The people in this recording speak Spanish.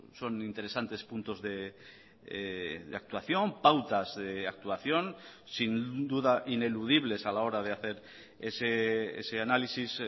son interesantes puntos de actuación pautas de actuación sin duda ineludibles a la hora de hacer ese análisis